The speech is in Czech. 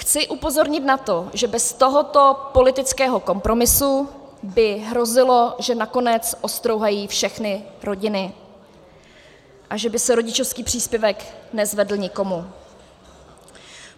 Chci upozornit na to, že bez tohoto politického kompromisu by hrozilo, že nakonec ostrouhají všechny rodiny a že by se rodičovský příspěvek nezvedl nikomu.